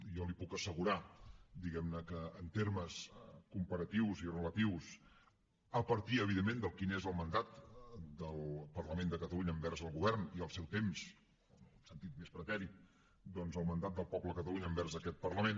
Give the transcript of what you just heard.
jo li puc assegurar diguem ne que en termes comparatius i relatius a partir evidentment de quin és el mandat del parlament de catalunya envers el govern i el seu temps en el sentit més pretèrit doncs el mandat del poble de catalunya envers aquest parlament